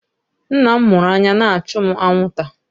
Nna m mụrụ anya na-achụ mụ anwụnta.